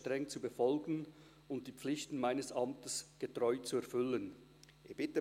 Frau Walpoth legt das Gelübde ab.